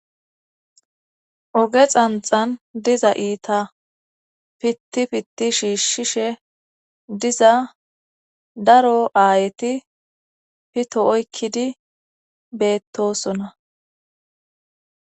Oge xanxan diza iita pitti pitti shiishshishe diza daro aayeti pito oykkidi beettosona.